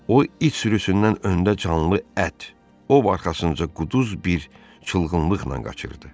O it sürüsündən öndə canlı ət, ov arxasınca quduz bir çılgınlıqla qaçırdı.